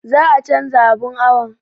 Za a canza abun awon